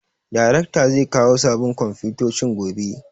Darekta zai kawo sabin komfutocin gobe